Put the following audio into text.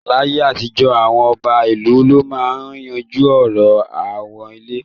Láyé àtijọ́, àwọn ọba ìlú ló máa ń yanjú ọ̀rọ̀ aáwọ̀ ilẹ̀